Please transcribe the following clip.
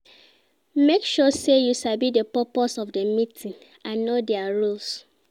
make sure say you sabi di purpose of di meeting and know their rules